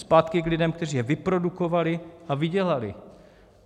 Zpátky k lidem, kteří je vyprodukovali a vydělali.